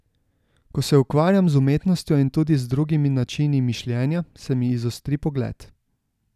Ko se ukvarjam z umetnostjo in tudi z drugimi načini mišljenja, se mi izostri pogled.